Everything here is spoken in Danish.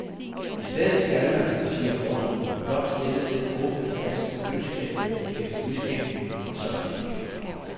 I stedet skal man, siger forskerne, blot stille den åbne flaske i køleskabet efter udskænkning, og så er den ikke længere.